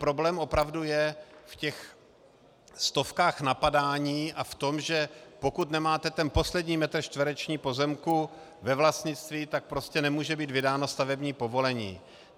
Problém opravdu je v těch stovkách napadání a v tom, že pokud nemáte ten poslední metr čtvereční pozemku ve vlastnictví, tak prostě nemůže být vydáno stavební povolení.